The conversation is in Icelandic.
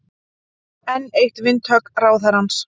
Enn eitt vindhögg ráðherrans